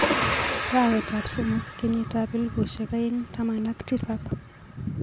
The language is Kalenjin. Arawetap somok kenyitap elbushek aeng taman ak tisap.